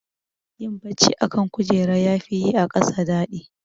Yin bacci a kan kujera yafi yi a ƙasa daɗi.